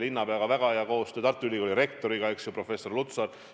Linnapeaga on olnud väga hea koostöö, Tartu Ülikooli rektoriga, professor Lutsariga.